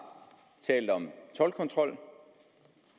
talt om toldkontrol